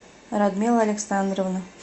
радмила александровна